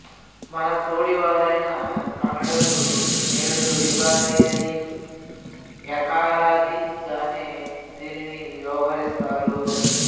మనతోడివారైన కన్నడులు నేడూ యుగాది అని యకారాదిగానే దీనిని వ్యవహరిస్తారు